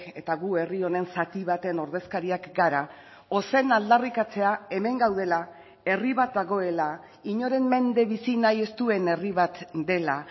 eta gu herri honen zati baten ordezkariak gara ozen aldarrikatzea hemen gaudela herri bat dagoela inoren mende bizi nahi ez duen herri bat dela